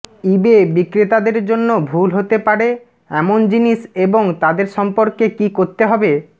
ইবে বিক্রেতাদের জন্য ভুল হতে পারে এমন জিনিস এবং তাদের সম্পর্কে কী করতে হবে